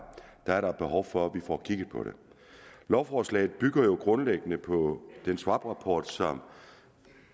er der behov for at får kigget på det lovforslaget bygger jo grundlæggende på den swaprapport som